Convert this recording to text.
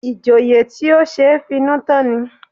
Ìjòyè tí ó ṣe é finú tán ni